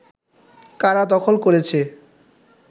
কারা দখল করেছে